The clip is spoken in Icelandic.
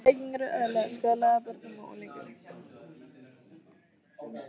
Reykingar eru eðlilegar skaðlegar börnum og unglingum.